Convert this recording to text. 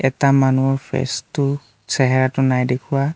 এটা মানুহৰ ফেচটো চেহেৰাটো নাই দেখুওৱা।